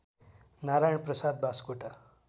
Narayan Prasad Baskota